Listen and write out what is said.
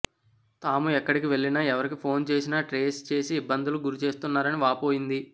తాము ఎక్కడికి వెళ్లినా ఎవరికి ఫోన్ చేసినా ట్రేస్ చేసి ఇబ్బందులుకు గురి చేస్తున్నారని వాపోయింది